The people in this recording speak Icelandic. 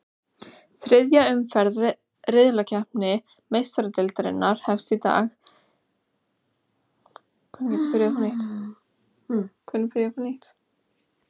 Þriðja umferð riðlakeppni Meistaradeildarinnar hefst í kvöld þegar leikið verður í fjórum riðlum.